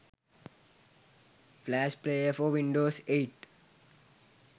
flash player for windows 8